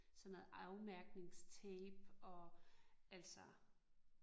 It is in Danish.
Sådan noget afmærkningstape og altså